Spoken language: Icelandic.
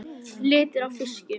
Lifir á fiski.